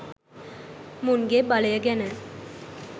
මුන්ගෙ බලය ගැන.